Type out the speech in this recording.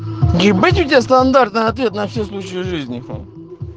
ебать у тебя стандартный ответ на все случаи жизни